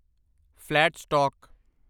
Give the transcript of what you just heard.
flat stock